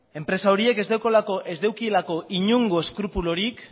enpresa horiek ez daukatelako inongo eskrupulurik